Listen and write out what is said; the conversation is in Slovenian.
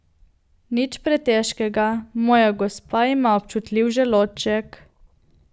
Nič pretežkega, moja gospa ima občutljiv želodček.